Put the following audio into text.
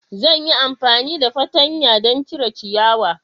Zan yi amfani da fartanya don cire ciyawa.